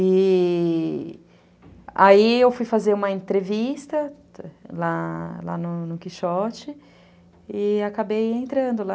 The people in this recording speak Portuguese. E... aí eu fui fazer uma entrevista lá no no Quixote e acabei entrando lá.